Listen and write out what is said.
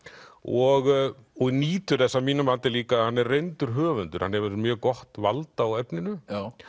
og og nýtur þess að mínu mati líka að hann er reyndur höfundur hann hefur mjög gott vald á efninu